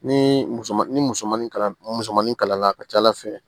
Ni musomanin ni musomanni kala musomanin kala la a ka ca ala fɛ